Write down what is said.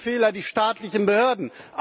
Welche Fehler die staatlichen Behörden?